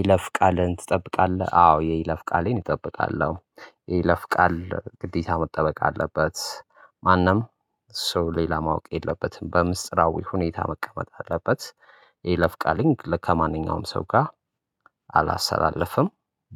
ይለፍ ቃልን ትጠብቃለህ አዎ የይለፍ ቃሌን እጠብቃለሁ። ይለፍ ቃል ግዴታ መጠበቅ አለበት ማንም ሰው ሌላ ማወቅ የለበትም በምስጢራዊ ሁኔታ መቀመጥ አለበት። የይለፍ ቃልን ከማንኛውም ሰው ጋር አላሰተላልፍም